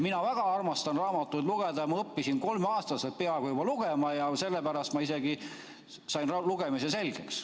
Mina väga armastan raamatuid lugeda, ma õppisin kolmeaastaselt juba peaaegu lugema ja sellepärast ma isegi sain lugemise selgeks.